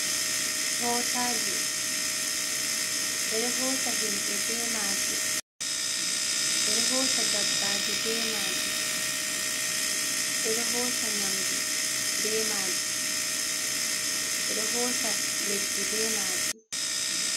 Mootaaji ɓe ɗo hoosa himɓe be maaji, ɓe ɗo hoosa dabbaaji be maaji, ɓe ɗo hoosa nyamu be maaji, ɓe ɗo hoosa leddi be maaji.